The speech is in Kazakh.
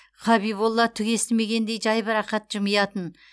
хабиболла түк естімегендей жайбарақат жымиятын